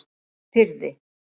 Firði